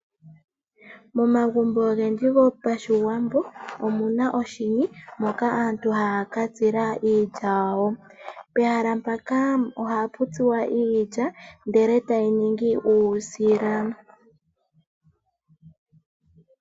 Momagumbo ogendji gopashiwambo omuna oshini moka aantu haya katsila iilya yawo. Pehala mpaka ohapu tsuwa iilya ndele tayi ningi uusila.